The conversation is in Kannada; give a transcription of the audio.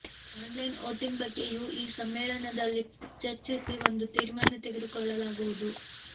ಆನ್ಲೈನ್ ವೋಟಿಂಗ್ ಬಗ್ಗೆಯೂ ಈ ಸಮ್ಮೇಳನದಲ್ಲಿ ಚರ್ಚಿಸಿ ಒಂದು ತೀರ್ಮಾನ ತೆಗೆದು ಕೊಳ್ಳಲಾಗುವುದು